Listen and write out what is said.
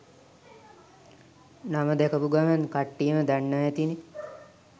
නම දැකපු ගමන් කට්ටියම දන්නවා ඇතිනේ